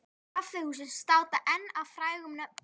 Kaffihúsin státa enn af frægum nöfnum.